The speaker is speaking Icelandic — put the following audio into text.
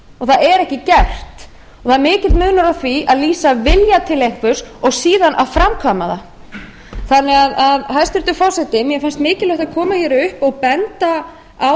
það er ekki gert það er mikill munur á því að lýsa vilja til einhvers og síðan að framkvæma það hæstvirtur forseti mér finnst mikilvægt að koma hér upp og benda á